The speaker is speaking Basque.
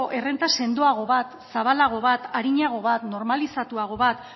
errenta sendoago bat zabalago bat arinago bat normalizatuago bat